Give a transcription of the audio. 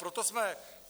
Proto jsme...